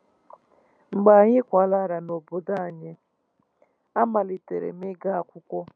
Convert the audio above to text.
Mgbe anyị kwalatara n’obodo anyị, a malitere m ịga akwụkwọ.